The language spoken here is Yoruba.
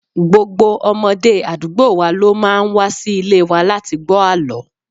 Gbogbo ọmọdé àdúgbò wa ló máa ń wa sí ilé wa láti gbó àlọ́.